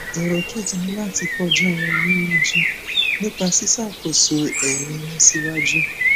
ẹrọ kejì ni láti fọjọ wa ní iwájú nípa ṣíṣàkóso ẹrin irun sí iwájú